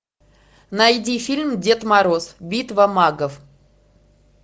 найди фильм дед мороз битва магов